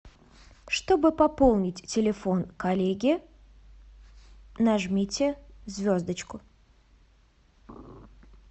чтобы пополнить телефон коллеги нажмите звездочку